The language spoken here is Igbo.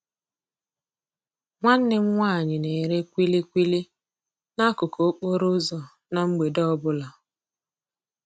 Nwanne m nwaanyị na-ere kwili kwili n'akụkụ okporo ụzọ na mgbede ọbụla.